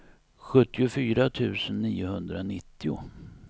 sjuttiofyra tusen niohundranittio